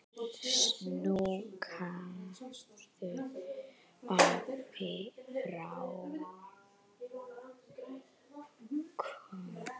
Knúsaðu afa frá okkur.